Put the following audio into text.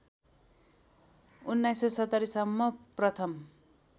१९७० सम्म प्रथम